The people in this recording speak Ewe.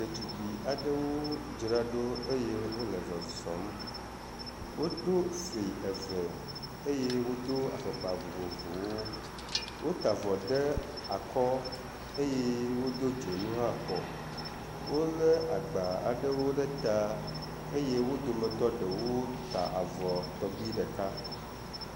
Ɖetugbi aɖewo dzra ɖo eye wo le zɔzɔm. Woɖo fli eve eye wodo afɔkpa vovovowo. Wota avɔ ɖe akɔ eye wodo dzonua kɔ. Wo le agba aɖewo ɖe ta eye wo dometɔ ɖewo ta avɔ tɔgbi ɖeka.